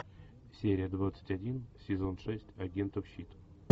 серия двадцать один сезон шесть агентов щит